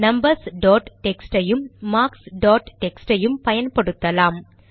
numbers dot text ஐயும் marks dot text ஐயும் பயன்படுத்தலாம்